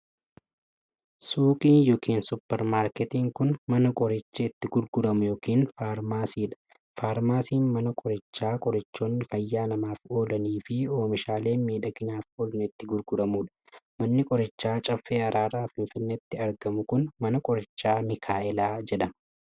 Suuqiin yookin supparmaarketiin kun, mana qorichi itti gurguramu yookin faarmaasii dha. Faarmaasiin mana qorichaa qorichoonni fayyaa namaaf oolanii fi oomishaaleen miidhaginaaf oolan itti gurguramuu dha. Manni qorichaa Caffee Araaraa Finfinneetti argamu kun, Mana Qorichaa Mikaa'elaa jedhama.